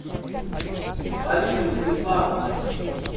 ларисой владиславовной